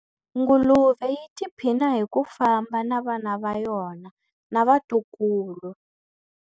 Nguluve yi tiphina hi ku famba na vana va yona na vatukulu.